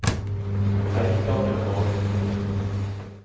Eikangervåg